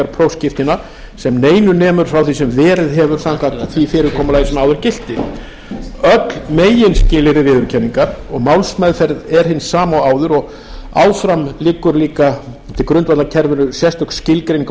prófskírteina sem neinu nemur frá því sem verið hefur samkvæmt því fyrirkomulagi sem áður gilti öll meginskilyrði viðurkenningar og málsmeðferð er hin sama og áður og áfram liggur líka til grundvallar kerfinu sérstök skilgreining á